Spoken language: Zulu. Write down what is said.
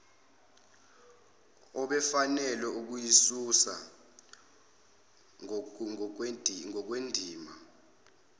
obefanele ukuyisusa ngokwendima